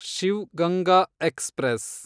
Shiv Ganga express